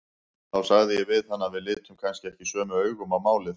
Þá sagði ég við hann að við litum kannski ekki sömu augum á málin.